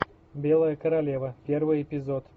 белая королева первый эпизод